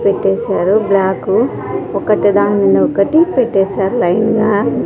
పెట్టేశారు బ్లాకు ఒకటి దాని మింద ఒకటి పెట్టేశారు లైన్ గా.